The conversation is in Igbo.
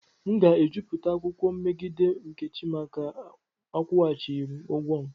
M ga-ejupụta akwụkwọ megide nkechi maka akwụghachighị m ego m.